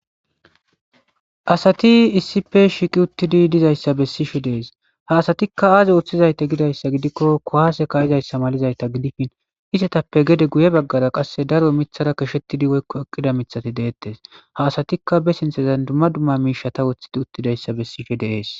Asati issipe shiqi uttidi dizayssa bessishe dees haasatikka aaze woththizayte gidayssa gidikko kowaase kayizayssa malizayta gidifin isetappe gede guye baggara qasse daro mithara kashettidi woykko eqqida mithati deettes haasatikka be sinthazan dumma dumma miisha ta woththidi uttidayssa bessishe deees